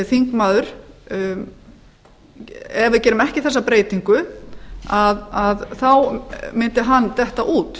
þingmaður ef við gerum ekki þessa breytingu þá mundi hann detta út